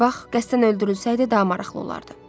Bax, qəsdən öldürülsəydi, daha maraqlı olardı.